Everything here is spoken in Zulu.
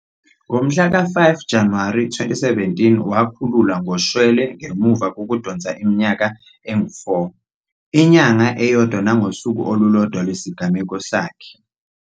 Ngo-5 Januwari 2017 wakhululwa ngoshwele ngemuva kokudonsa iminyaka engu-4, inyanga eyodwa nangosuku olulodwa lwesigwebo sakhe, UTshabalala uphinde wadedelwa ngoshwele ngalo lolo suku.